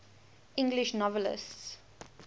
english novelists